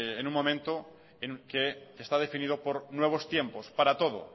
en un momento en que está definido por nuevos tiempos para todo